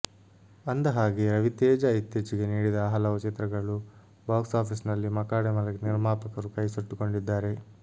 ಅಂದಹಾಗೆ ರವಿತೇಜಾ ಇತ್ತೀಚೆಗೆ ನೀಡಿದ ಹಲವು ಚಿತ್ರಗಲೂ ಬಾಕ್ಸ್ ಆಫೀಸ್ ನಲ್ಲಿ ಮಕಾಡೆ ಮಲಗಿ ನಿರ್ಮಾಪಕರು ಕೈ ಸುಟ್ಟುಕೊಂಡಿದ್ದಾರೆ